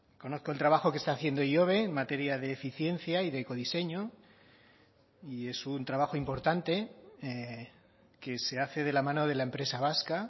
conozco el trabajo que está haciendo ihobe en materia de eficiencia y de ecodiseño y es un trabajo importante que se hace de la mano de la empresa vasca